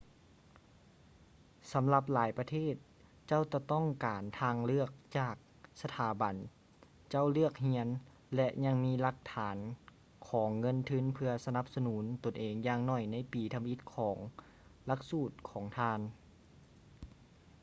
ສຳລັບຫຼາຍປະເທດ ເຈົ້າຈະຕ້ອງການທາງເລືອກຈາກສະຖາບັນເຈົ້າເລືອກຮຽນ ແລະ ຍັງມີຫຼັກຖານຂອງເງິນທຶນເພື່ອສະໜັບສະໜູນຕົນເອງຢ່າງໜ້ອຍໃນປີທຳອິດຂອງຫຼັກສູດຂອງທ່ານ